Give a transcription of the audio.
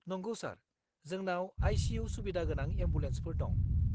नंगौ सार! जोंनाव आइ.सि.इउ. सुबिदा गोनां एम्बुलेन्सफोर दं।